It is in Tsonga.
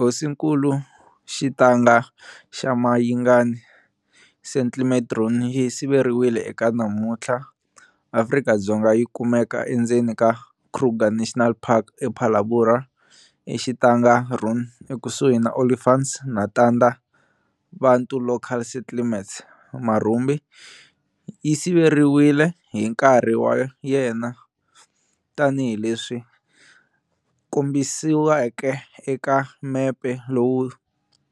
Hosinkulu Xitanga xa Mayingani settlement ruin yi siveriwile eka namuntlha Afrika-Dzonga yi kumeka endzeni ka Kruger National Park e Phalaborwa e Xitanga ruin ekusuhi na Olifants na Tanda Bantu local settlements, marhumbi, yi siveriwile hi nkarhi wa yena tani hileswi swi kombisiweke eka mepe lowu